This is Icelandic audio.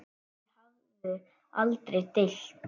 Þau höfðu aldrei deilt.